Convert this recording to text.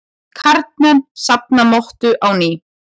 Karlmenn safna mottu á ný